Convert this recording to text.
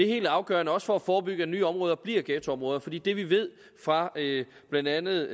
helt afgørende også for at forebygge at nye områder bliver ghettoområder for det vi ved fra blandt andet